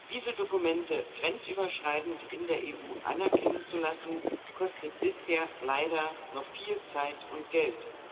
Diese Dokumente grenzüberschreitend in der EU anerkennen zu lassen, kostet bisher leider noch viel Zeit und Geld.